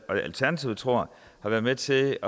og alternativet tror har været med til